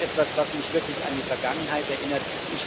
Das ist etwas, was mich wirklich an die Vergangenheit erinnert.